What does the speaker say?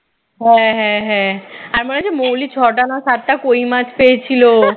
হ্যাঁ হ্যাঁ হ্যাঁ আর মনে আছে মৌলি ছয়টা না সাতটা কই মাছ পেয়েছিল